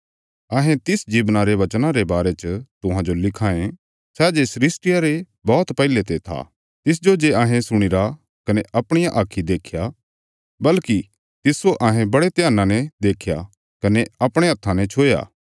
हऊँ यूहन्ना तुहांजो तिस माहणुए रे बारे च लिख्या रां सै जे जीवना रा वचन आ सै सृष्टिया रे बौहत पैहले ते था तिसजो जे अहें सुणीरा कने अपणियां आक्खीं देख्या बल्कि तिस्सो अहें बड़े ध्याना ने देख्या कने अपणे हत्थां ने छुया